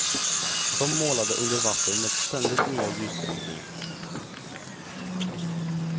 Som målade under vatten med ständigt nya ljusbrytningar.